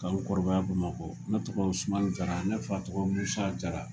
Ka n kɔrɔbaya Bamakɔ. Ne tɔgɔ Usmani Jara, ne fa tɔgɔ Musa Jara.